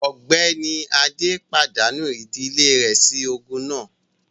Ọ̀gbẹ́ni Adé pàdánù ìdílé rẹ̀ sí ogun náà